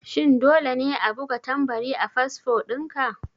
Shin dole ne a buga tambari a fasfo dinka?